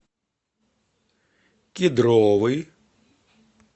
кедровый